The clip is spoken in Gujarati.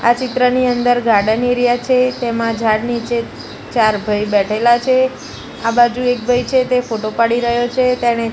આ ચિત્રની અંદર ગાર્ડન એરિયા છે તેમાં ઝાડ નીચે ચાર ભઈ બેઠેલા છે આ બાજુ એક ભઈ છે તે ફોટો પાડી રહ્યો છે તેણે--